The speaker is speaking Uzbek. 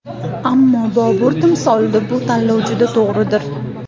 Ammo, Bobur timsolida bu tanlov juda to‘g‘ridir.